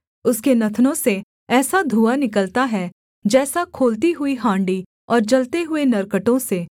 उसके नथनों से ऐसा धुआँ निकलता है जैसा खौलती हुई हाण्डी और जलते हुए नरकटों से